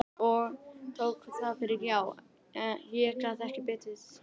Og hann tók það fyrir já, ég gat ekki betur séð.